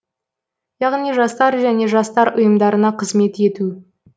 яғни жастар және жастар ұйымдарына қызмет ету